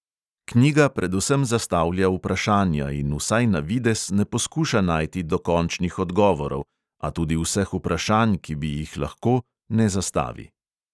Knjiga predvsem zastavlja vprašanja in, vsaj na videz, ne poskuša najti dokončnih odgovorov, a tudi vseh vprašanj, ki bi jih lahko, ne zastavi.